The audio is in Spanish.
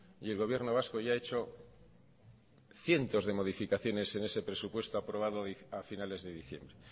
y el gobierno vasco ya ha hecho cientos de modificaciones en ese presupuesto aprobado a finales de diciembre